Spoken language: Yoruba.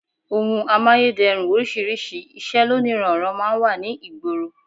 Ohun amáyédẹrùn oríṣiríṣi, iṣẹ́ lóníranran máa ń wà ní ìgboro